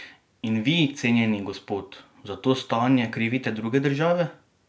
In vi, cenjeni gospod, za to stanje krivite druge države?